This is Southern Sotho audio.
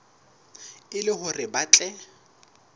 e le hore ba tle